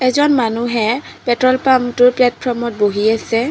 এজন মানুহে পেট্ৰল পাম্পটোৰ প্লেটফৰ্মত বহি আছে।